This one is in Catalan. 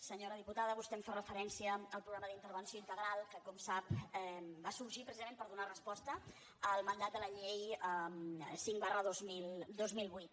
senyora diputada vostè em fa referència al programa d’intervenció integral que com sap va sorgir precisament per donar resposta al mandat de la llei cinc dos mil vuit